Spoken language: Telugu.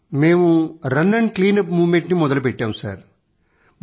సర్ మేము రన్ క్లీనప్ మూవ్మెంట్ ని మొదలుపెట్టాము